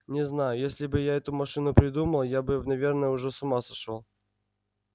не знаю если бы я эту машину придумал я бы наверное уже с ума сошёл